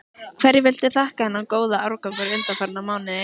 Hverju viltu þakka þennan góða árangur undanfarna mánuði?